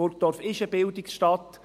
Burgdorf ist eine Bildungsstadt.